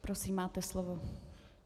Prosím, máte slovo.